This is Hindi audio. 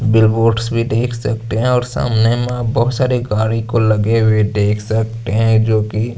बिल बोर्डस भी देख सकते है और सामने बहोत सारी गाडियों को लगे हुए देख सकते है जो की--